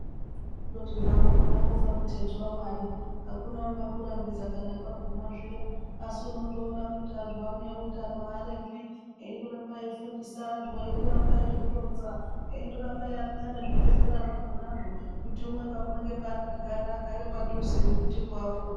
Kundoti zvakhona miteto waMwari akuna angakurambidza kana kwaguma zviya asi unondoona kuti antu ano eutano andorambi eindoramba eifundisa antu eindoramba eizvironza eindoramba eirashika nezvibhedhleya zvakhonazvo kuti umwe naumwe paakagara agare padhuze nekuti apone.